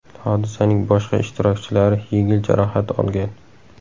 Hodisaning boshqa ishtirokchilari yengil jarohat olgan.